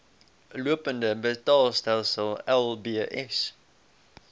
lopende betaalstelsel lbs